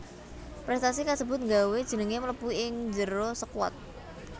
Prestasi kasebut nggawé jengengé mlebu ing njero skuat